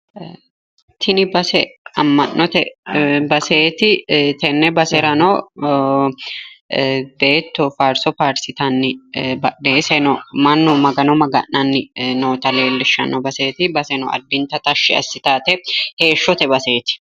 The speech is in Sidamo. Tini base amma'note baseeti. tenne baserano beetto faarso faarsitanni mannu badheese mannu magano maga'nanni noota leellishshanno addinta tashshi assitawoye heeshshote baseeti.